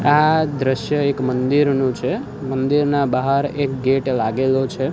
આ દ્રશ્ય એક મંદિરનુ છે મંદિરના બહાર એક ગેટ લાગેલો છે.